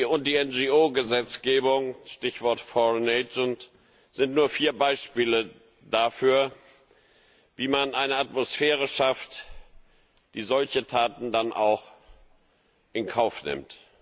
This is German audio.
und die NGO Gesetzgebung Stichwort foreign agent sind nur vier Beispiele dafür, wie man eine Atmosphäre schafft, die solche Taten dann auch in Kauf nimmt.